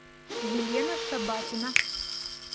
елена шабатина